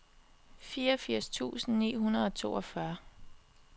fireogfirs tusind ni hundrede og toogfyrre